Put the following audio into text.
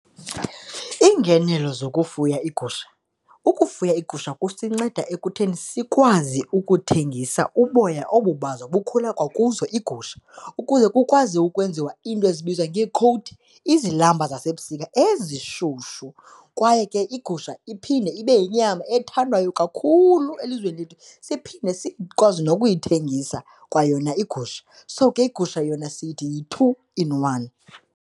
Iingenelo zokufuya iigusha, ukufuya iigusha kusinceda ekutheni sikwazi ukuthengisa uboya obu bazo bukhule kwakuzo iigusha, ukuze kukwazi ukwenziwa into ezibizwa ngeekhowuthi, izilamba zasebusika ezishushu. Kwaye ke igusha iphinde ibe yinyama ethandwayo kakhulu elizweni lethu, siphinde sikwazi nokuyithengisa kwayona igusha. So, ke iigusha yona sithi yi-two in one.